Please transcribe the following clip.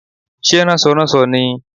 Sé rànsoránso ni i?